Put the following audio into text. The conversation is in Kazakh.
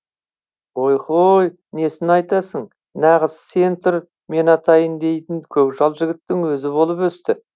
ой хой несін айтасың нағыз сен тұр мен атайын дейтін көкжал жігіттің өзі болып өсті